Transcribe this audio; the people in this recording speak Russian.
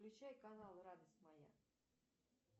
включай канал радость моя